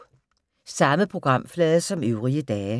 Samme programflade som øvrige dage